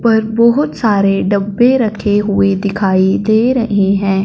पर बहोत सारे डब्बे रखे हुए दिखाई दे रहे हैं।